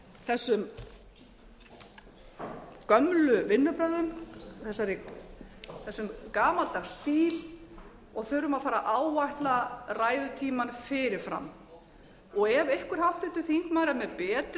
þessu gömlu vinnubrögðum þessum gamaldags stíl og þurfum að fara að áætla ræðutímann fyrir fram ef einhver háttvirtur þingmaður er með betri